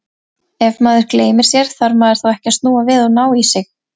Ef maður gleymir sér, þarf maður þá ekki að snúa við og ná í sig?